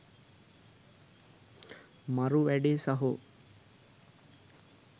මරු වැඩේ සහෝ.